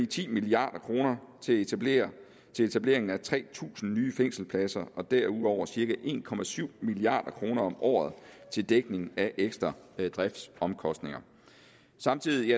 ti milliard kroner til etableringen etableringen tre tusind nye fængselspladser og derudover cirka en milliard kroner om året til dækning af ekstra driftsomkostninger samtidig